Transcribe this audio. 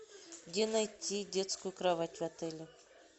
где найти детскую кровать в отеле